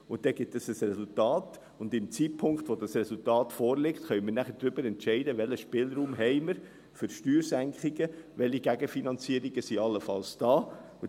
– Dann gibt dies ein Resultat, und zum Zeitpunkt, zu dem dieses Resultat vorliegt, können wir nachher darüber entscheiden, welchen Spielraum wir für Steuersenkungen haben, welche Gegenfinanzierungen allenfalls da sind.